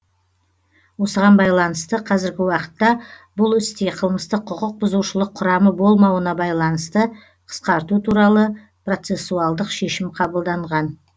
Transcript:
осыған байланысты қазіргі уақытта бұл істе қылмыстық құқық бұзушылық құрамы болмауына байланысты қысқарту туралы процесуалдық шешім қабылданған